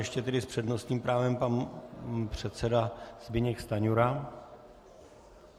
- Ještě tedy s přednostním právem pan předseda Zbyněk Stanjura.